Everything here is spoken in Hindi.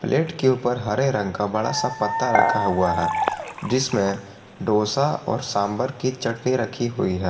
प्लेट के ऊपर हरे रंग का बड़ा सा पत्ता रखा हुआ है जिसमें डोसा और सांभर की चटनी रखी हुई है।